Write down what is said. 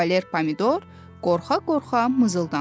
Kavaler Pomidor qorxa-qorxa mızıldandı.